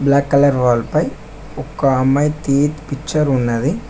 Black colour wall పై ఒక్క అమ్మాయి పిక్చర్ ఉన్నది.